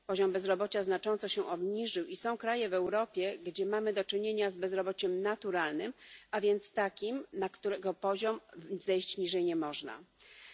Poziom bezrobocia znacząco się obniżył i są kraje w Europie, gdzie mamy do czynienia z bezrobociem naturalnym, a więc takim, poniżej poziomu którego nie można zejść.